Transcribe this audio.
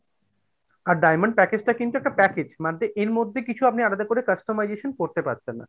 আর diamond package টা কিন্তু একটা package, মানে এর মধ্যে কিছু আপনি আলাদা করে customization করতে পারছেন না।